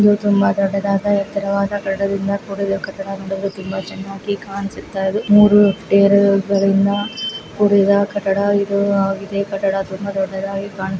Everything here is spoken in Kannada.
ಇದು ಒಂದು ದೊಡ್ಡದಾದ ಎತ್ತರವಾದ ಬಿಲ್ಡಿಂಗ್ ಇಂದ ಕೂಡಿದೆ ತುಂಬಾ ಚೆನ್ನಾಗಿ ಕಾಣಿಸುತ್ತಾ ಇದೆ ಮೂರು ಅಪ್ಟಿಯರ್ ಗಳಿಂದ ಕೂಡಿದ ಕಟ್ಟಡ ಇದಾಗಿದೆ ಕಟ್ಟಡ ತುಂಬ ದೊಡ್ಡದಾಗಿ ಕಾಣುತ್ತಿರುವ ದೃಶ್ಯ